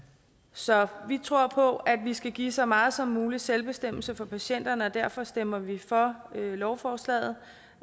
så vi tror på at vi skal give så meget som mulig selvbestemmelse for patienterne og derfor stemmer vi for lovforslaget